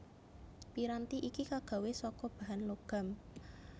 Piranti iki kagawé saka bahan logam